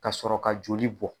Ka sɔrɔ ka joli bɔ.